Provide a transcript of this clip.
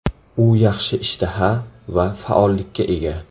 U yaxshi ishtaha va faollikka ega.